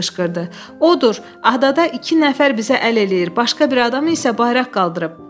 Odur, adada iki nəfər bizə əl eləyir, başqa bir adam isə bayraq qaldırır.